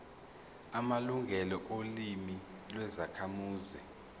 amalungelo olimi lwezakhamuzi